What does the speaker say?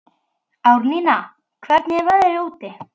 Árnína, hvernig er veðrið úti?